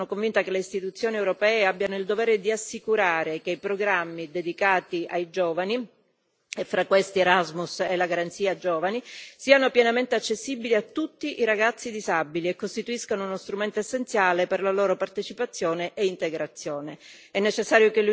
A tal proposito, sono convinta che le istituzioni europee abbiano il dovere di assicurare che i programmi dedicati ai giovani, e fra questi Erasmus e la Garanzia giovani, siano pienamente accessibili a tutti i ragazzi disabili e costituiscano uno strumento essenziale per la loro partecipazione e integrazione.